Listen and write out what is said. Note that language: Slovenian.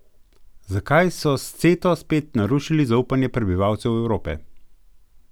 Zakaj so s Ceto spet narušili zaupanje prebivalcev Evrope?